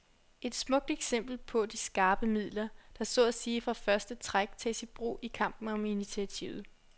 Et smukt eksempel på de skarpe midler, der så at sige fra første træk tages i brug i kampen om initiativet.